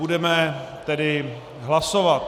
Budeme tedy hlasovat.